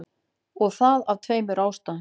Og það af tveimur ástæðum.